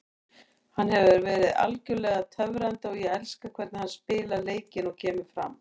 Hann hefur verið algjörlega töfrandi og ég elska hvernig hann spilar leikinn og kemur fram.